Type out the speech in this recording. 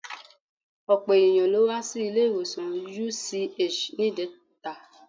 Ọ̀pọ̀ ènìyàn ló wá sí ilé-ìwọ̀sàn UCH níjẹta.